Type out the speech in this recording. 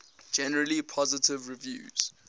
generally positive reviews